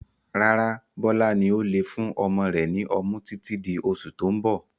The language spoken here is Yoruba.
Rárá, Bọlá ó ní lè fún ọmọ rẹ ni ọmú títí di oṣù tó ń bọ̀.